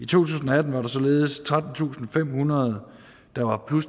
tusind og atten var der således trettentusinde og femhundrede på